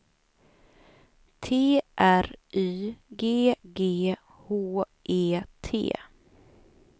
T R Y G G H E T